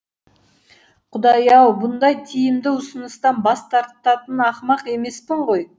құдай ау бұндай тиімді ұсыныстан бастартатын ақымақ емеспін ғой